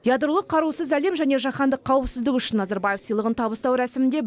ядролық қарусыз әлем және жаһандық қауіпсіздік үшін назарбаев сыйлығын табыстау рәсімінде